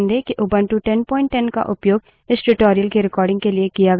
कृपया ध्यान दें कि उबंटु 1010 का उपयोग इस tutorial की recording के लिए किया गया था